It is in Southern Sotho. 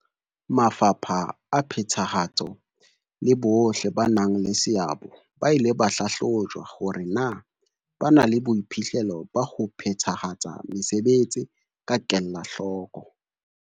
Mafapha a phethahatso le bohle ba nang le seabo ba ile ba hlahlojwa hore na ba na le boiphihlelo ba ho phethahatsa mesebetsi ka kelahloko.